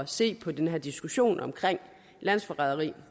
se på den her diskussion om landsforræderi